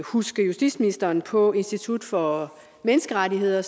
huske justitsministeren på at institut for menneskerettigheder